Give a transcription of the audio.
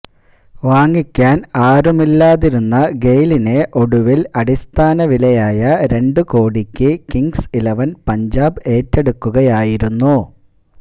വാങ്ങിക്കാന് ആരുമില്ലാതിരുന്ന ഗെയ്ലിനെ ഒടുവില് അടിസ്ഥാന വിലയായ രണ്ടു കോടിക്ക് കിങ്സ് ഇലവന് പഞ്ചാബ് ഏറ്റെടുക്കുകയായിരുന്നു